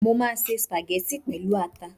Mo máa se sùpàgẹ́tì pẹ̀lú ata